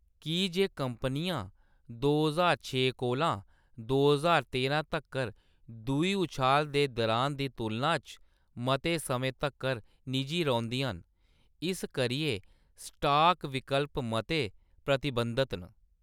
की जे कंपनियां दो ज्हार छे कोला दो ज्हार तेरां तक्कर दूई उछाला दे दुरान दी तुलना च मते समें तक्कर निजी रौंह्‌‌‌दियां न, इस करियै स्टाक विकल्प मते प्रतिबंधत न।